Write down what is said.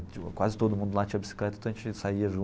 Quase todo mundo lá tinha bicicleta então a gente saía